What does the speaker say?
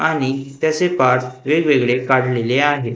आणि त्याचे पार्ट्स वेगवेगळे काढलेले आहेत.